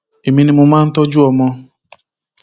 èmi ni mo máa ń tọjú ọmọ